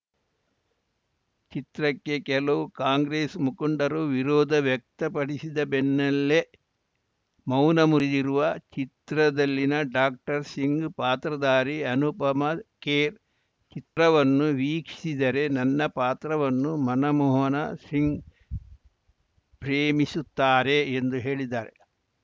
ಚಿತ್ರಕ್ಕೆ ಕೆಲವು ಕಾಂಗ್ರೆಸ್‌ ಮುಖಂಡರು ವಿರೋಧ ವ್ಯಕ್ತಪಡಿಸಿದ ಬೆನ್ನಲ್ಲೇ ಮೌನ ಮುರಿದಿರುವ ಚಿತ್ರದಲ್ಲಿನ ಡಾಕ್ಟರ್ ಸಿಂಗ್‌ ಪಾತ್ರಧಾರಿ ಅನುಪಮ ಖೇರ್‌ ಚಿತ್ರವನ್ನು ವೀಕ್ಷಿಸಿದರೆ ನನ್ನ ಪಾತ್ರವನ್ನು ಮನಮೋಹನ ಸಿಂಗ್‌ ಪ್ರೇಮಿಸುತ್ತಾರೆ ಎಂದು ಹೇಳಿದ್ದಾರೆ